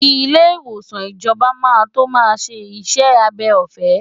Ilé ìwòsàn ìjọba máa tó máa ṣe iṣẹ́ abẹ ọ̀fẹ́.